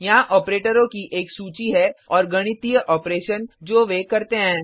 यहाँ ऑपरेटरों की एक सूची है और गणितीय ऑपरेशन जो वे करते हैं